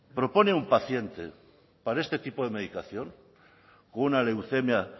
propone un paciente para este tipo de medicación con una leucemia